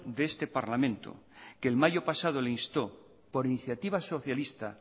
de este parlamento que en mayo pasado instó por iniciativa socialista